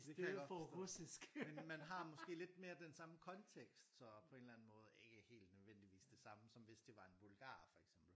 Det kan jeg godt forstå. Men man har måske lidt mere den samme kontekst så på en eller anden måde ikke helt nødvendigvis det samme som hvis det var en bulgarer for eksempel